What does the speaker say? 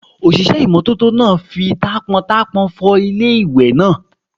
Òṣìṣẹ́ ìmọ́tótó náà fi taápọntaápọn fọ ilé ìwẹ̀ náà